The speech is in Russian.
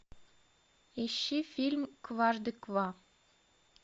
ищи фильм кважды ква